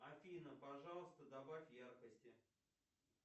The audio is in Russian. афина пожалуйста добавь яркости